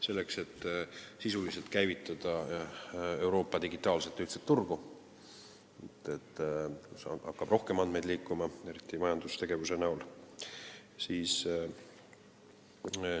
Selleks, et sisuliselt käivitada Euroopa digitaalset ühtset turgu, kus hakkab rohkem andmeid liikuma, eriti majandustegevuse tõttu.